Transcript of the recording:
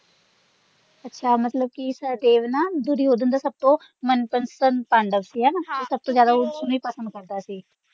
ਅੱਛਾ ਮਤਲਬ ਕਿ ਸਹਿਦੇਵ ਨਾ ਦੁਰਯੋਧਨ ਦਾ ਸਬਤੋ ਮਨਪਸੰਦ ਪਾਂਡਵ ਸੀ ਹਣਾ ਹਾਂ ਉਹ ਸਬਤੋ ਜਿਆਦਾ ਉਸਨੂੰ ਹੀ ਪਸੰਦ ਕਰਦਾ ਸੀ।